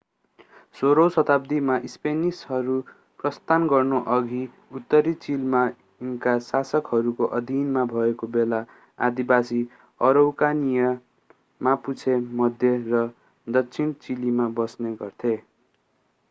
16 औं शताब्दीमा स्पेनिशहरू प्रस्थान गर्नुअघि उत्तरी चिलीमा इन्का शासकहरूको अधीनमा भएको बेला आदिवासी अरौकानियन मापुचे मध्य र दक्षिण चिलीमा बस्ने गर्थे।